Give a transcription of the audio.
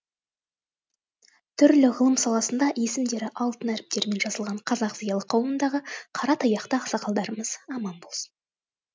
түрлі ғылым саласында есімдері алтын әріптермен жазылған қазақ зиялы қауымындағы қара таяқты ақсақалдарымыз аман болсын